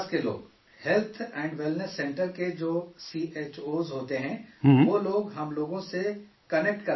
health and wellness center کے جو C H Os ہوتے ہیں، وہ لوگ، ہم لوگ سے، کنیکٹ کروا دیتے ہیں